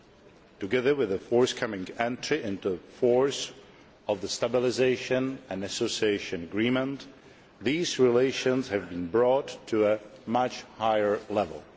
Along with the forthcoming entry into force of the Stabilisation and Association Agreement, these relations have been brought to a much higher level.